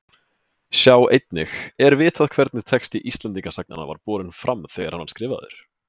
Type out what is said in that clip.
Sjá einnig Er vitað hvernig texti Íslendingasagnanna var borinn fram þegar hann var skrifaður?